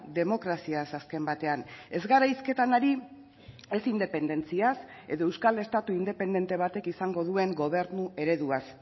demokraziaz azken batean ez gara hizketan ari ez independentziaz edo euskal estatu independente batek izango duen gobernu ereduaz